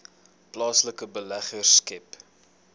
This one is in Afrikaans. plaaslike beleggers skep